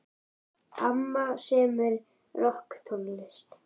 Amma semur rokktónlist.